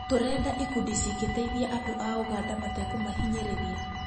Tũrenda ikundi cingĩteithia andũ a ũganda matekũmahinyĩrĩria